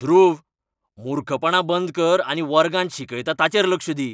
ध्रुव, मुर्खपणां बंद कर आनी वर्गांत शिकयता ताचेर लक्ष दी!